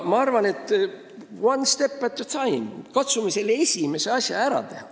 Ma arvan, et one step at the time, katsume selle esimese asja ära teha.